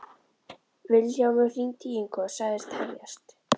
Vilhjálmur hringdi í Ingu og sagðist tefjast.